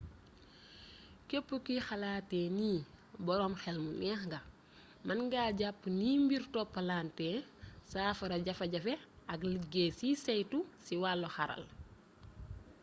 képp kuy xalaatee nii boroom xel mu neex nga mën nga jàpp niy mbir toppalantee saafara jafe-jafe ak liggéey ciy saytu ci wàllu xarala